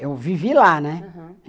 Eu vivi lá, né? Aham